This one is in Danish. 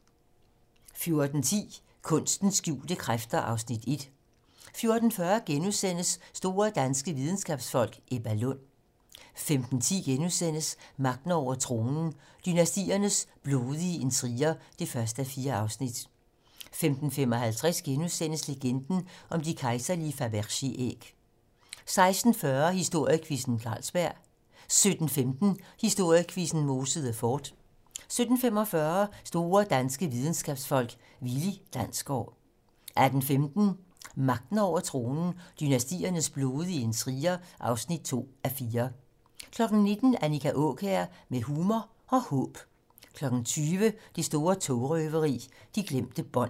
14:10: Kunstens skjulte kræfter (Afs. 1) 14:40: Store danske videnskabsfolk: Ebba Lund * 15:10: Magten over tronen - dynastiernes blodige intriger (1:4)* 15:55: Legenden om de kejserlige Fabergé-æg * 16:45: Historiequizzen: Carlsberg 17:15: Historiequizzen: Mosede Fort 17:45: Store danske videnskabsfolk: Willi Dansgaard 18:15: Magten over tronen - Dynastiernes blodige intriger (2:4) 19:00: Annika Aakjær med humor og håb 20:00: Det store togrøveri - de glemte bånd